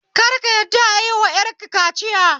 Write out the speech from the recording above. Kar ka yadda ayiwa 'yar ka kaciya